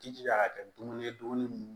Jijija ka kɛ dumuni ye dumuni